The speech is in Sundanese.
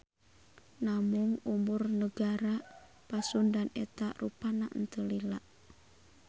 Namung umur Negara Pasundan eta rupana teu lila.